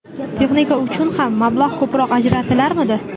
Texnika uchun ham mablag‘ ko‘proq ajratilarmidi.